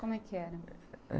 Como é que era?